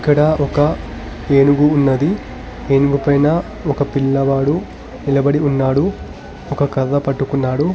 ఇక్కడ ఒక ఏనుగు ఉన్నది ఏనుగుపైన ఒక పిల్లవాడు నిలబడి ఉన్నాడు ఒక కర్ర పట్టుకున్నాడు.